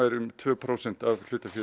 um tveggja prósenta hlut